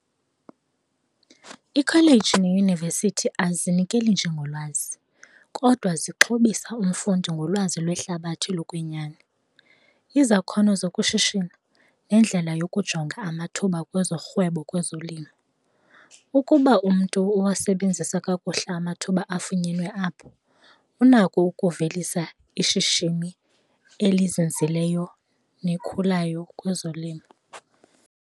Ikholeji neyunivesithi azinikeli nje ngolwazi kodwa zixhobisa umfundi ngolwazi lwehlabathi lokwenyani. Izakhono zokushishino nendlela yokujonga amathuba wezorhwebo kwezolimo, ukuba umntu uwasebenzisa kakuhle amathuba afunyenwe apho unako ukuvelisa ishishini elizinzileyo nekhulu yayo kwezolimo.